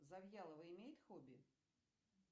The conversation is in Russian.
завьялова имеет хобби